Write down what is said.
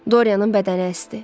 Dorianın bədəni əsdi.